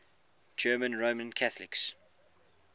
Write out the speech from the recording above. german roman catholics